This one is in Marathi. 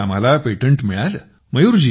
यावर्षी आम्हाला पेटंट मिळालं